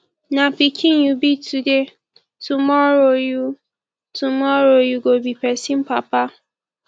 na pikin you be today tomorrow you tomorrow you go be pesin papa